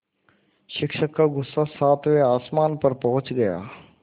शिक्षक का गुस्सा सातवें आसमान पर पहुँच गया